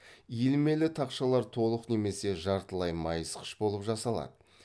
иілмелі тақшалар толық немесе жартылай майысқыш болып жасалады